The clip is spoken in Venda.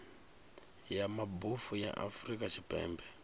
ya mabofu ya afrika tshipembe